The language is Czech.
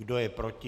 Kdo je proti?